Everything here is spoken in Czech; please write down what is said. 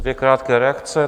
Dvě krátké reakce.